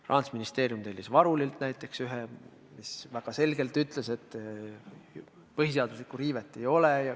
Rahandusministeerium tellis Varuli büroolt näiteks ühe, mis väga selgelt ütles, et põhiseaduslikku riivet ei ole.